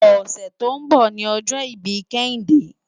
Òsè tó n bò ni òjò ibi Kehinde